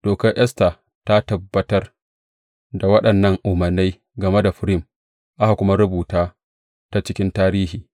Dokar Esta ta tabbatar da waɗannan umarnai game da Furim, aka kuma rubuta ta cikin tarihi.